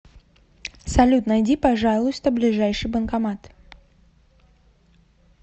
салют найди пожалуйста ближайший банкомат